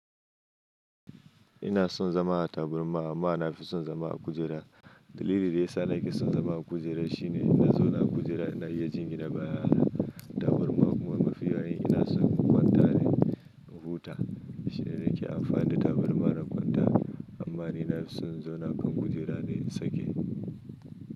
Ina son zama a tabarma amma na fi son zama a kujera. Dalilin da ya sa nake son zama a kujera shine in na zauna a kujera ina iya jingine bayana. Tabarma kuma mafiya in ina son kwanta ne in huta. Shi ne nake amfani da tabarma na kwanta. Amma ni na fi son zauna kan kujera ne in sake.